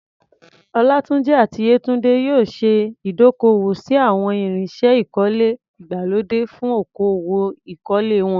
Olatunji àti Yetunde yóò ṣe ìdókòwò sí àwọn irinṣẹ́ ìkọ́lé ìgbàlódé fún okòwò ìkọ́lé wọn.